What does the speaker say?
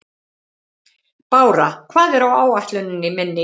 Bára, hvað er á áætluninni minni í dag?